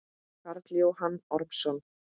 Karl Jóhann Ormsson